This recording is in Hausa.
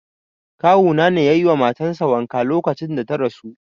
Kawu na ne yayi wa matan sa wanka lokacin da ta rasu.